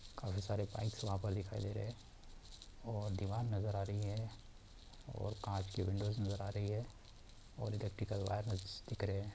काफी सारे बाइक्स वहां पर दिखाई दे रहे है और दिवार नजर आ रही है और कांच की विंडोज नज़र आ रही हैऔर इलेक्ट्रिकल वायर्स दिख रहे है।